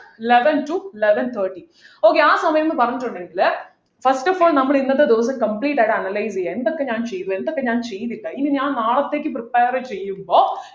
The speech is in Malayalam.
eleven to eleven thirty okay ആ സമയംന്ന് പറഞ്ഞിട്ടുണ്ടെങ്കിൽ first of all നമ്മുടെ ഇന്നത്തെ ദിവസം complete ആയിട്ട് analyse ചെയ്യാ എന്തൊക്കെ ഞാൻ ചെയ്തു എന്തൊക്കെ ഞാൻ ചെയ്തില്ല ഇനി ഞാൻ നാളത്തേക്ക് prepare ചെയ്യുമ്പോ